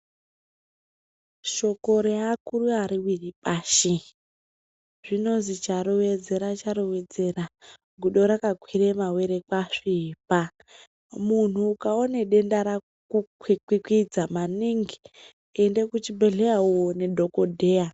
Shoko reakuru ariwiri pashi, zvinozwi charovedzera charovedzera gudo rakakwire mawere kwasvipa, munhu ukaona denda raku kwikwikwidza maningi ende kuchibhedhlera woone dhokodheya.